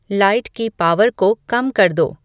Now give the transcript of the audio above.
light की power को कम कर दो